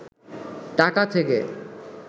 টাকা থেকে